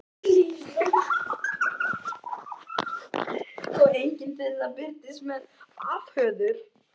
Og enginn þeirra birtist mér afhöfðaður.